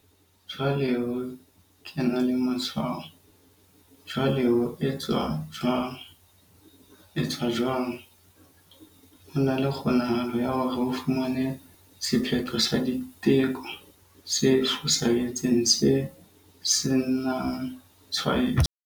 Jwale ho ke ena le matshwao. Jwale ho etswa jwang? etswa jwang? Ho na le kgonahalo ya hore o fumane sephetho sa diteko se fosahetseng se senangtshwaetso.